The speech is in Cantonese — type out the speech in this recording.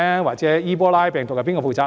或者伊波拉病毒，誰要負責呢？